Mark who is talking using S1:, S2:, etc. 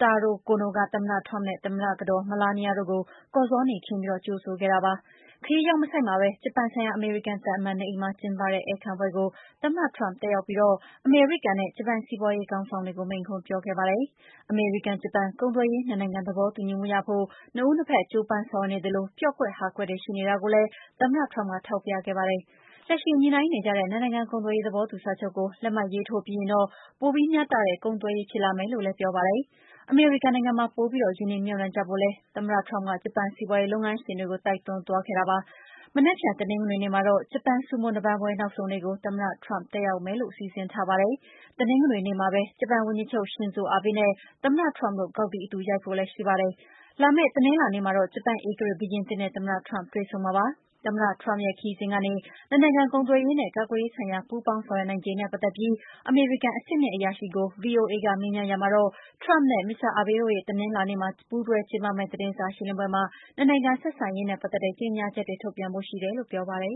S1: Taro Kono က သမ္မတ Trump နဲ့ သမ္မတကတော် Melania တို့ကို ကော်ဇောနီခင်းပြီး ကြိုဆိုခဲ့တာပါ။ ခရီးရောက်မဆိုက်မှာပဲ ဂျပန်ဆိုင်ရာ အမေရိကန်သံအမတ် နေအိမ်မှာ ကျင်းပတဲ့ ဧည့်ခံပွဲကို သမ္မတ Trump တက်ရောက်ပြီး အမေရိကန်နဲ့ ဂျပန်စီးပါွးရေးခေါင်းဆောင်တွေကို မိန့်ခွန်းပြောခဲ့ပါတယ်။ အမေရိကန်- ဂျပန် ကုန်သွယ်ရေး ၂ နိုင်ငံသဘောတူညီမှုရဖို့ ၂ ဦး ၂ ဘက် ကြိုးပမ်းဆောင်ရွက်နေသလို ပျော့ကွက်ဟာကွက်တွေ ရှိနေတာကိုလည်း သမ္မတ Trump ကထောက်ပြခဲ့ပါတယ်။ လက်ရှိညှိနှိုင်းနေကြတဲ့ ၂ နိုင်ငံကုန်သွယ်ရေးသဘောတူစာချုပ်ကို လက်မှတ်ရေးထိုးပြီးရင်တော့ ပိုပြီးမျှတတဲ့ ကုန်သွယ်ရေး ဖြစ်လာမယ်လို့လည်း ပြောပါတယ်။ အမေရိကန်နိုင်ငံမှာ ပိုပြီး ရင်းနှီးမြှုပ်နှံကြဖို့လည်း သမ္မတ Trump က ဂျပန်စီးပါွးရေးလုပ်ငန်းရှင်တွေကို တိုက်တွန်းသွားပါတယ်။ မနက်ဖြန် တနင်္ဂနွေနေ့မှာတော့ ဂျပန် ဆူမို နပန်းပွဲ နောက်ဆုံးနေ့ ကို သမ္မတ Trump တက်ရောက်ဖို့ စီစဉ်ထားတာပါ။ တနင်္ဂနွေနေ့မှာပဲ ဂျပန်ဝန်ကြီးချုပ် ရှင်ဇိုအာဘေးနဲ့ သမ္မတ Trump တို့ဂေါက်သီး အတူ ရိုက်ဖို့လည်းရှိပါတယ်။ လာမယ့်တနင်္လာနေ့မှာတော့ ဂျပန်ဧကရာဇ် ဘုရင်သစ်နဲ့ သမ္မတ Trump တွေ့ဆုံဖို့ ရှိပါတယ်။ သမ္မတ Trump ရဲ့ ခရီးစဉ်ကနေ နှစ်နိုင်ငံ ကုန်သွယ်ရေးနဲ့ ကာကွယ်ရေးဆိုင်ရာ ပူးပေါင်းဆောင်ရွက်နိုင်ခြေနဲ့ ပတ်သက်ပြီး အမေရိကန် အဆင့်မြင့် အရာရှိကို VOA က မေးမြန်းရာမှာတော့ Trump နဲ့ Abe တို့ တနင်္လာနေ့မှာ ပူးတွဲကျင်းပမယ့် သတင်းစာရှင်းလင်းပွဲမှာ ၂နိုင်ငံဆက်ဆံ
S2: ရေးနဲ့ ပတ်သက်တဲ့ ကြေငြာချက်တွေ ထုတ်ပြန်ဖို့ ရှိတယ်လို့ ပြောပါတယ်